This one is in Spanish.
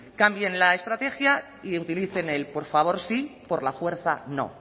cambien la estrategia y utilicen el por favor sí por la fuerza no